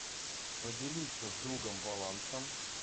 поделиться с другом балансом